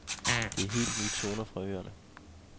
Det er helt nye toner fra øerne.